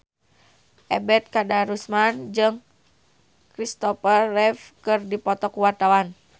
Ebet Kadarusman jeung Christopher Reeve keur dipoto ku wartawan